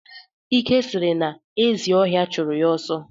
Ike sịrị na ezi ọhịa chụrụ ya ọsọ